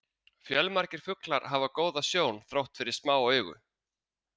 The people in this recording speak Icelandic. Fjölmargir fuglar hafa góða sjón þrátt fyrir smá augu.